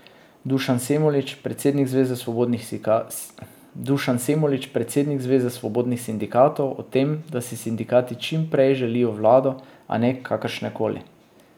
Dušan Semolič, predsednik zveze svobodnih sindikatov, o tem, da si sindikati čim prej želijo vlado, a ne kakršnekoli.